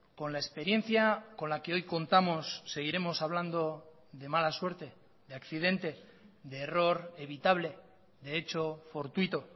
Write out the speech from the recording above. con la experiencia con la que hoy contamos seguiremos hablando de mala suerte de accidente de error evitable de echo fortuito